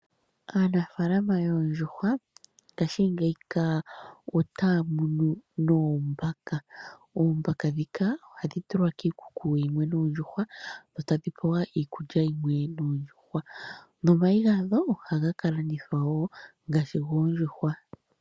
Aanafalama yoondjuhwa ngaashingeyi ka otaya munu noombaka. Oombaka ndhika ohadhi tulwa kiikuku yimwe noondjuhwa dho tadhi pewa iikulya yimwe noondjuhwa, nomayi gadho ohaga ka landithwa wo ngaashi goondjuhwa.